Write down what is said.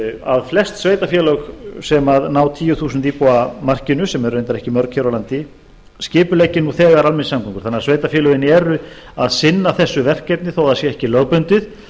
að flest sveitarfélög sem ná tíu þúsund íbúa markinu sem eru greinar ekki mörg hér á landi skipuleggi nú þegar almenningssamgöngur þannig að sveitarfélögin eru að sinna þessu verkefni þó það sé ekki lögbundið